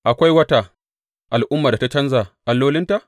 Akwai wata al’ummar da ta canja allolinta?